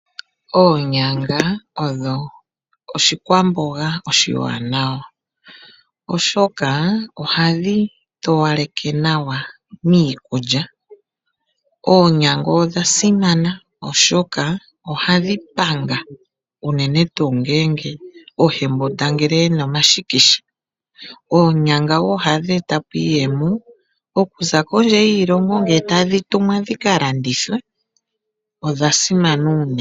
Oonyanga odho oshikwamboga oshiwanawa oshoka ohadhi towaleke nawa miikulya. Oonyanga odha simana oshoka ohadhi panga unene tu ngele oyembundangele yena omashikisha, oonyanga wo ohadhi etapo iiyemo okuza kondje yiilongo ngele tadhi tumwa dhika landithwe odha simana unene.